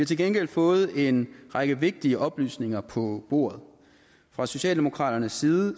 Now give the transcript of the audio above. til gengæld fået en række vigtige oplysninger på bordet fra socialdemokraternes side